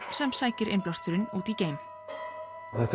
sem sækir innblásturinn út í geim og þetta